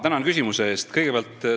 Tänan küsimuse eest!